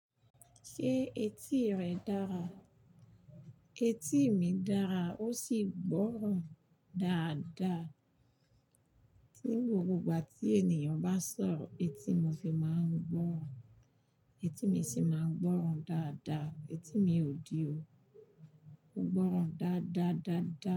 Ṣé etí rẹ dára? Etí mi dára ó sì gbọ́ràn dáadáa. Tí gbogbo ìgbà tí ènìyàn bá sọ̀rọ̀, etí mi fi máa ń gbọ́ràn. Etí mi sì máa ń gbọ́ràn dáadáa. Etí mi ò dí o. Ó ń gbọ́ràn dáadáadáadáa.